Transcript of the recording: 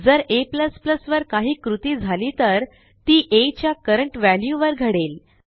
जर a वर काही कृती झाली तर ती आ च्या करंट व्हॅल्यूवर घडेल